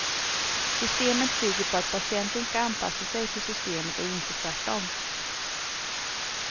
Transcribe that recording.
Systemet bygger på att patienten ska anpassa sig till systemet och inte tvärtom.